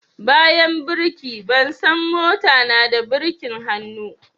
Bayan birki, ban san mota na da birkin hannu